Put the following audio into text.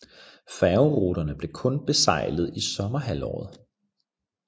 Færgeruterne blev kun besejlet i sommerhalvåret